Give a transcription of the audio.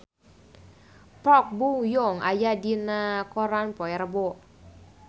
Park Bo Yung aya dina koran poe Rebo